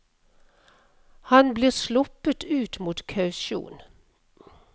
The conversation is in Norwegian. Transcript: Han blir sluppet ut mot kausjon.